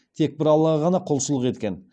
тек бір аллаға ғана құлшылық еткен